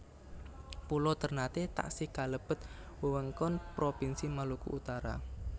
Pulo Térnaté taksih kalebet wewengkon Propinsi Maluku Utara